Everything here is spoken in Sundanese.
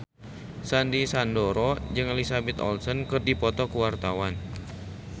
Sandy Sandoro jeung Elizabeth Olsen keur dipoto ku wartawan